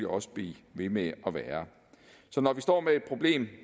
også blive ved med at være så når vi står med et problem